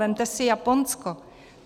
Vemte si Japonsko.